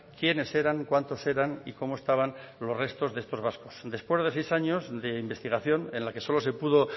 quienes eran cuántos eran y cómo estaban los restos de estos vascos después de seis años de investigación en la que solo se pudo